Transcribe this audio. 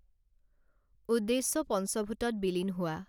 উদ্দেশ্য পঞ্চভূতত বিলীন হোৱা